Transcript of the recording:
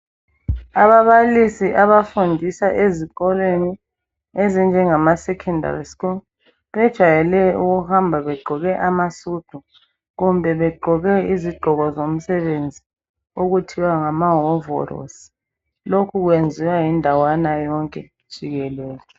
Ababalisi abafundisa ezikolweni ezinjengamaSecondary school bajayele ukuhamba begqoke amasudu kumbe begqoke izigqoko zomsebenzi okuthiwa ngamahovorosi lokhu kwenziwa yindawana yonke jikelele.